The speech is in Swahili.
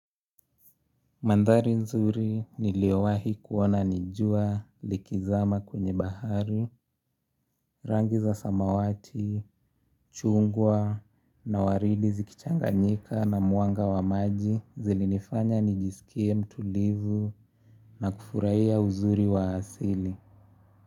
Mandhari nzuri niliowahi kuona nijua likizama kwenye bahari, rangi za samawati, chungwa na waridi zikichanganyika na mwanga wa maji zilinifanya nijisikie mtulivu na kufurahia uzuri wa asili.